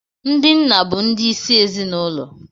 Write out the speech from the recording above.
Ndị nna bụ ndi isi ezinụlọ